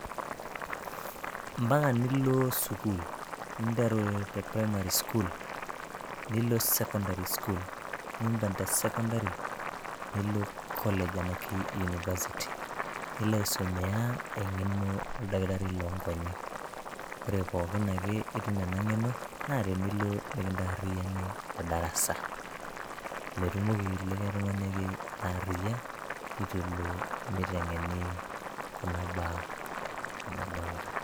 mpaka nilo sukul ninteru te primary school nilo secondary[ school nimpang te secondary nilo college anake university nilo aesomea eng'eno oldakitari lonkonyek ore pookin ake itum ena ng'eno naa tenilo mikintarriyiani te darasa metumoki likae tung'ani ake ataa arriyia itu elo miteng'eni kuna baa nadolta.